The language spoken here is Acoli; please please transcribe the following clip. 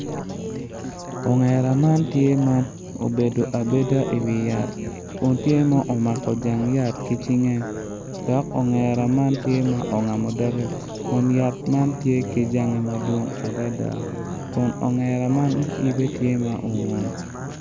Ongera man tye ma obedo abeda iwi yat kun tye ma omako jang yat ki cinge dok ongera man tye ma ongamo doge kun yat man tye ki jange madwong adada kun ongera man yibe tye ma ongun